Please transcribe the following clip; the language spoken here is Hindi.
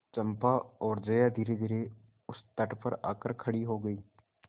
चंपा और जया धीरेधीरे उस तट पर आकर खड़ी हो गई